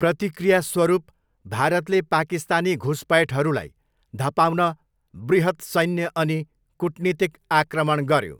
प्रतिक्रियास्वरूप भारतले पाकिस्तानी घुसपैठहरूलाई धपाउन बृहत् सैन्य अनि कूटनीतिक आक्रमण गऱ्यो।